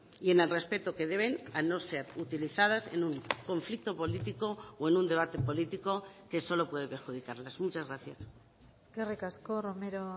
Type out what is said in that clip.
y en el respeto que deben a no ser utilizadas en un conflicto político o en un debate político que solo puede perjudicarlas muchas gracias eskerrik asko romero